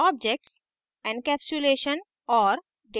objects encapsulation और